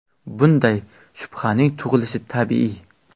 Bunday shubhaning tug‘ilishi tabiiy.